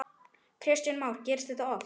Kristján Már: Gerist þetta oft?